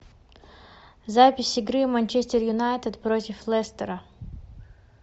запись игры манчестер юнайтед против лестера